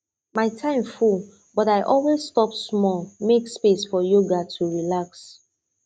my time full but i always stop small make space for yoga to relax